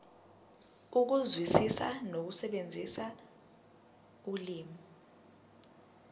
ukuzwisisa nokusebenzisa ulimi